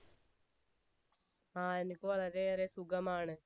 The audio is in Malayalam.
ആ എനിക്ക് വളരെ ഏറെ സുഖമാണ്